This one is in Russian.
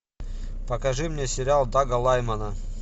покажи мне сериал дага лаймона